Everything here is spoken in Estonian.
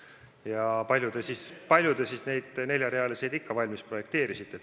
Ja kui palju te siis neid neljarealisi teid valmis projekteerisite?